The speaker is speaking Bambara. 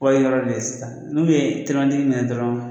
Wari ɲini yɔrɔ de ye sisan n'ulu ye telimani tigi minɛ dɔrɔn